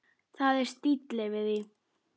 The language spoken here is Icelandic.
Það er stíll yfir því.